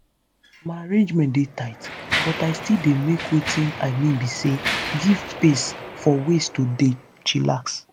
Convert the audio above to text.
my arrangement dey tight but i still dey make wetin i mean be say give space for ways to dey chillax.